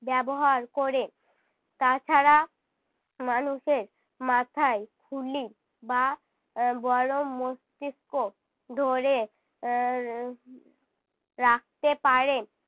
ব্যবহার করে। তাছাড়া মানুষের মাথায় খুলি বা আহ বড়ো মস্তিস্ক ধরে আহ রা~ রাখতে পারে।